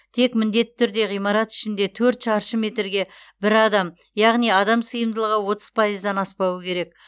тек міндетті түрде ғимарат ішінде төрт шаршы метрге бір адам яғни адам сыйымдылығы отыз пайыздан аспауы керек